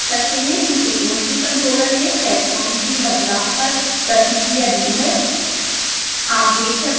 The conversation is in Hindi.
आप देख सकते हैं कि proportional controller ने setpoint में बदलाव पर प्रतिक्रिया दी है